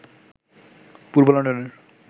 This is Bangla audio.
পূর্ব লন্ডনের